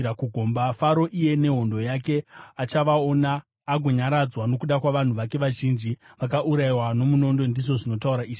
“Faro, iye nehondo yake, achavaona agonyaradzwa nokuda kwavanhu vake vazhinji vakaurayiwa nomunondo, ndizvo zvinotaura Ishe Jehovha.